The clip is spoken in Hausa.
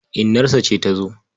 Inarsa ce ta zo.